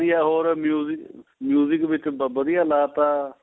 ਵੀ ਆ ਹੋਰ ਵਿੱਚ ਵਧੀਆ ਲਾਤਾ